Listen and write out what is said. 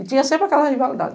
E tinha sempre aquela rivalidade.